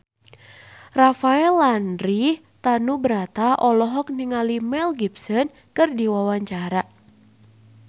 Rafael Landry Tanubrata olohok ningali Mel Gibson keur diwawancara